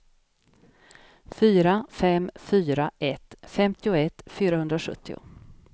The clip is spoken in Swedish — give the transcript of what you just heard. fyra fem fyra ett femtioett fyrahundrasjuttio